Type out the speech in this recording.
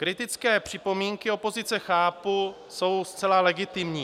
Kritické připomínky opozice chápu, jsou zcela legitimní.